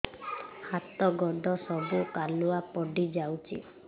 ହାତ ଗୋଡ ସବୁ କାଲୁଆ ପଡି ଯାଉଛି